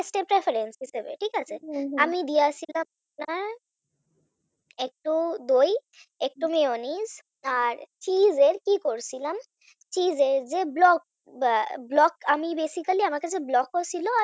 ঠিক আছে? হম হম আমি আপনার একটু দই একটু mayonnaise আর Cheese এর কি করেছিলাম Cheese এর যে ব্লকটা ব্লক আমি basically আমার কাছে ব্লক ও ছিল আর